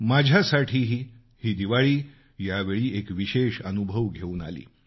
माझ्यासाठीही ही दिवाळी यावेळी एक विशेष अनुभव घेऊन आली